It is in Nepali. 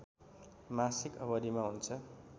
मासिक अवधिमा हुन्छ